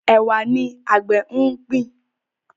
Ẹwà ní àgbè ngbin.